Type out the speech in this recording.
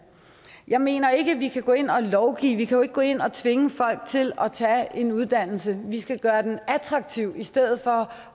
jeg mener ikke at vi kan gå ind og lovgive vi kan jo ikke gå ind og tvinge folk til at tage en uddannelse vi skal gøre den attraktiv i stedet for